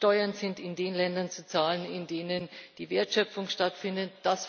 Steuern sind in den Ländern zu zahlen, in denen die Wertschöpfung stattfindet.